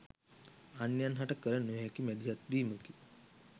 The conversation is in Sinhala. අන්‍යයන්හට කල නොහැකි මැදිහත් වීමකි